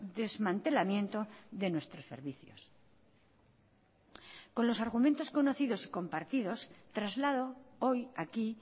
desmantelamiento de nuestros servicios con los argumentos conocidos y compartidos traslado hoy aquí